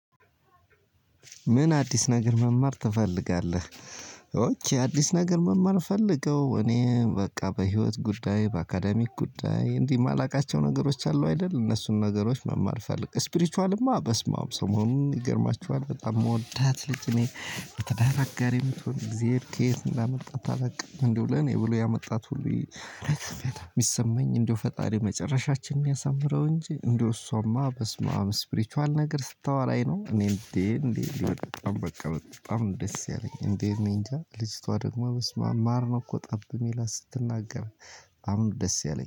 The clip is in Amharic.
ምን አዲስ ነገር መማር ትፈልጋለህ? ኦኬ አዲስ ነገር መማር ፈልገው እኔ በቃ በህይወት ጉዳይ በአካዳሚክ ጉዳይ እንዲህ የማላውቃቸው ነገሮች አሉ አይደል? እነሱን ነገሮች መማል ፈልግ ስፕሪቸቃልማ በስመአም ሰሞኑን ይገርማችኋል በጣም የምወዳት ልጅ እኔ የትዳር ጋር የምትሆን እግዜር ከየት እንዳመጣት አላውቅም እንደው ለኔ ብሎ ያመጣት ሁሉ። ሚሰማኝ እንደው ፈጣሪ መጨረሻችን ያሳምረው እንጂ እንደው እሷማ በስማም ስፕሪቹዋል ነገር ስታወራኝ ነው። እኔ እንዴ እንዴ በጣም በቃ በጣም ደስ ያለኝ እንዴ እኔ እንጃ ልጅቷ ደግሞ በስመአብ ማር ነው እኮ ጠብ የሚል ስትናገር። አሁን ደስ ያለኝ